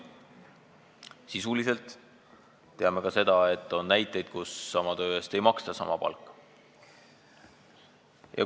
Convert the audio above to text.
Sisuliselt teame ka seda, et on näiteid, kus sama töö eest ei maksta sama palka.